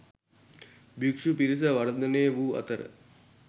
භික්‍ෂු පිරිස වර්ධනය වූ අතර